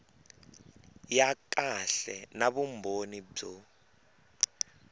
ya kahle na vumbhoni byo